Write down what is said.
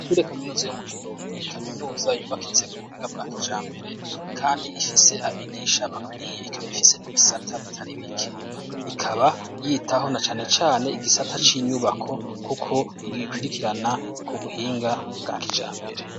Ishure Kaminuza yo mu Kirundo ni kaminuza yubakitse ku buhinga bwa kijambere kandi ifise abigisha bakwiye. Ikaba ifise n'ibisata bitari bike . Ikaba yitaho na cane cane igisata c'inyubako kuko igikwirikirana ku buhinga bwa kijambere.